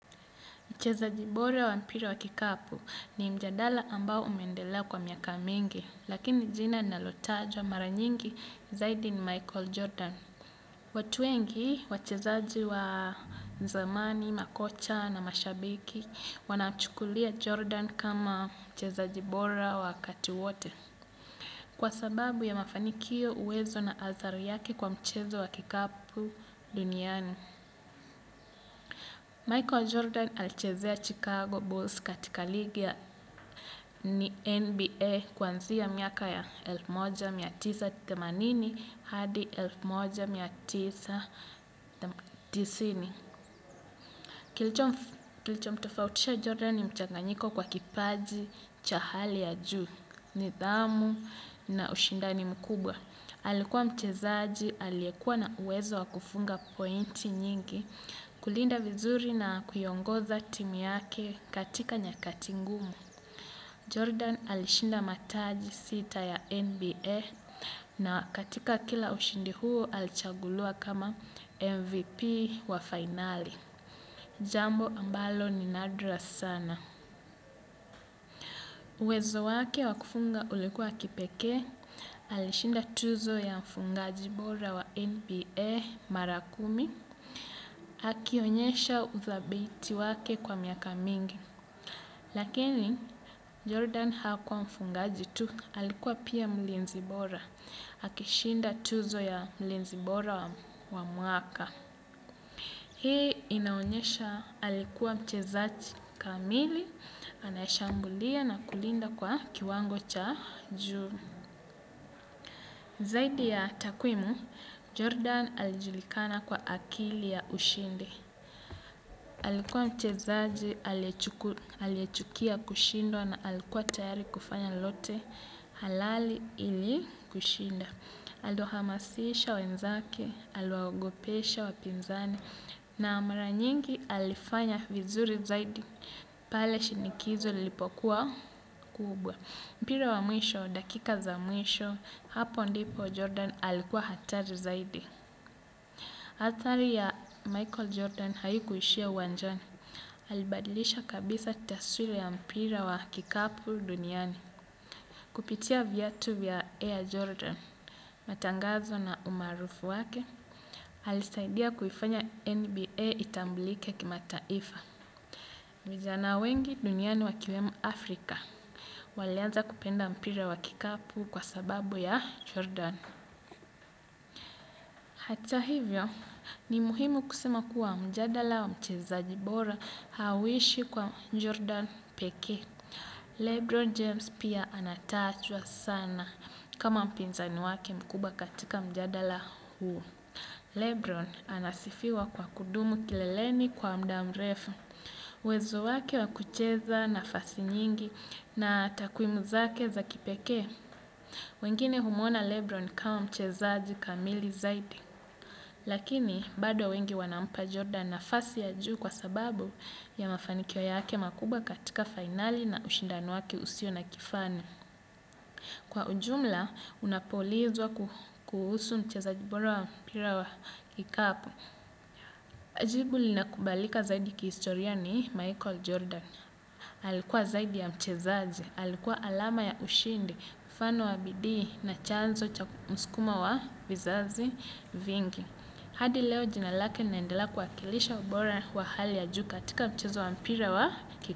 Mchezaji bora wa mpira wa kikapu ni mjadala ambao umeendelea kwa miaka mingi. Lakini jina linalotajwa mara nyingi zaidi ni Michael Jordan. Watu wengi, wachezaji wa zamani, makocha na mashabiki, wanamchukulia Jordan kama mchezaji bora wakati wote. Kwa sababu ya mafanikio uwezo na athari yake kwa mchezo wa kikapu duniani. Michael Jordan alichezea Chicago Bulls katika ligi ya NBA kuanzia miaka ya elfu moja na mia tisa na themanini hadi elfu moja na mia tisa na tisini. Kilichomtofautisha Jordan ni mchanganyiko kwa kipaji cha hali ya juu, nidhamu na ushindani mkubwa. Alikuwa mchezaji, aliyekuwa na uwezo wa kufunga pointi nyingi kulinda vizuri na kuiongoza timu yake katika nyakati ngumu. Jordan alishinda mataji sita ya NBA na katika kila ushindi huo alichaguliwa kama MVP wa fainali, jambo ambalo ni nadra sana. Uwezo wake wa kufunga ulikuwa wa kipekee, alishinda tuzo ya mfungaji bora wa NBA mara kumi, akionyesha uthabiti wake kwa miaka mingi. Lakini Jordan hakuwa mfungaji tu, alikuwa pia mlinzi bora. Akishinda tuzo ya mlinzi bora wa mwaka. Hii inaonyesha alikuwa mchezaji kamili, anayeshambulia na kulinda kwa kiwango cha juu. Zaidi ya takwimu, Jordan alijulikana kwa akili ya ushindi. Alikuwa mchezaji aliyechukia kushindwa na alikuwa tayari kufanya lolote halali ili kushinda. Aliwahamasisha wenzake, aliwaogopesha wapinzani, na mara nyingi alifanya vizuri zaidi. Pale shinikizo lilipokuwa kubwa. Mpira wa mwisho, dakika za mwisho, hapo ndipo Jordan alikuwa hatari zaidi. Athari ya Michael Jordan haikuishia uwanjani. Alibadilisha kabisa taswira ya mpira wa kikapu duniani kupitia viatu vya Air Jordan. Matangazo na umaarufu wake, alisaidia kuifanya NBA itambulike kimataifa. Vijana wengi duniani wakiwemo Afrika walianza kupenda mpira wa kikapu kwa sababu ya Jordan. Hata hivyo, ni muhimu kusema kuwa mjadala wa mchezaji bora hauishi kwa Jordan pekee. Lebron James pia anatajwa sana kama mpinzani wake mkubwa katika mjadala huu. Lebron anasifiwa kwa kudumu kileleni kwa muda mrefu. Uwezo wake wa kucheza nafasi nyingi na takwimu zake za kipekee. Wengine humwona Lebron kama mchezaji kamili zaidi. Lakini, bado wengi wanampa Jordan nafasi ya juu kwa sababu ya mafanikio yake makubwa katika fainali na ushindani wake usio na kifani. Kwa ujumla, unapoulizwa kuhusu mchezaji bora wa mpira wa kikapu jibu linakubalika zaidi kihistoria ni Michael Jordan. Alikuwa zaidi ya mchezaji, alikuwa alama ya ushindi, mfano wa bidii na chanzo cha msukumo wa vizazi vingi. Hadi leo jina lake linaendela kuwakilisha ubora wa hali ya juu katika mchezo wa mpira wa kikapu.